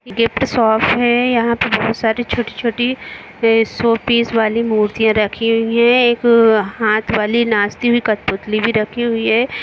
Gate पे shop है यहाँ पे बहुत सारी छोटी-छोटी शो पीस वाली मुर्तियाँ रखी हुई है एक हाथ वाली नाचती हुई कटपुतली भी रखी हुई है।